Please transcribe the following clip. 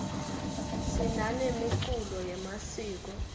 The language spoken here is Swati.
sinanemiculo yemasiko